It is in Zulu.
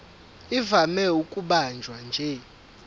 ivame ukubanjwa nje